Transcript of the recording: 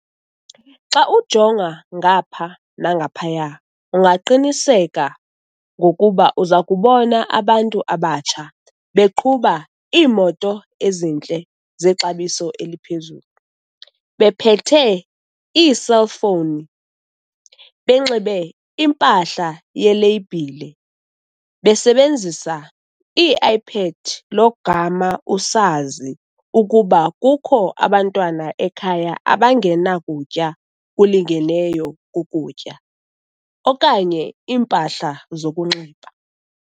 Xa ujonga ngapha nangaphaya ungaqiniseka ngokuba uza kubona abantu abatsha beqhuba iimoto ezintle zexabiso eliphezulu, bephethe iiselfowuni, benxibe 'impahla yeleyibhile', besebenzisa ii-i-pad logama usazi ukuba kukho abantwana ekhaya abangenakutya kulingeneyo kokutya, okanye iimpahla zokunxiba.